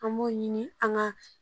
An b'o ɲini an ka